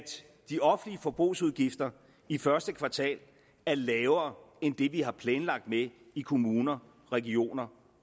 de offentlige forbrugsudgifter i første kvartal er lavere end det vi har planlagt med i kommuner regioner